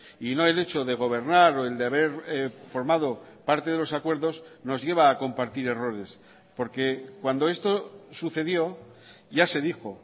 y no el hecho de gobernar o el de haber formado parte de los acuerdos nos lleva a compartir errores porque cuando esto sucedió ya se dijo